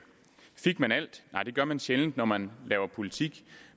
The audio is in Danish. fik man alt nej det gør man sjældent når man laver politik